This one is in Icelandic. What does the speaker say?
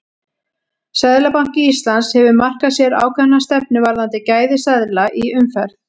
Seðlabanki Íslands hefur markað sér ákveðna stefnu varðandi gæði seðla í umferð.